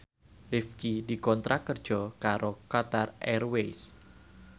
Rifqi dikontrak kerja karo Qatar Airways